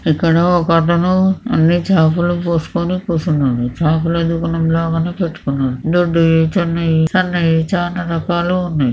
ఇక్కడ ఒక అతను అన్ని చాపలు పోసుకొని కూర్చున్నాడు. చాపల దుకాణం లాగానే పెట్టుకున్నాడు. దొడుయి చిన్నయి సన్నవి చాలా రకాలు ఉన్నాయి.